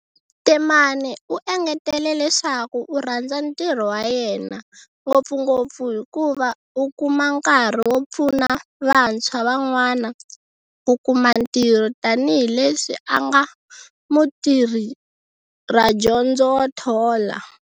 Temane u engetele leswaku u rhandza ntirho wa yena, ngopfungopfu hikuva u kuma nkarhi wo pfuna vantshwa van'wana ku kuma ntirho tanihi leswi a nga mutirhadyondzo wo thola.